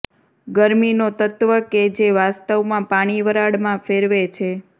ગરમીનો તત્વ કે જે વાસ્તવમાં પાણી વરાળમાં ફેરવે છે